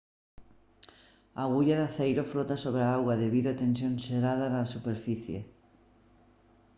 a agulla de aceiro flota sobre a auga debido a tensión xerada na superficie